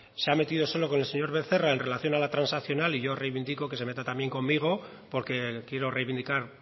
se ha metido solo con el señor becerra en relación a la transaccional y yo reivindico que se meta también conmigo porque quiero reivindicar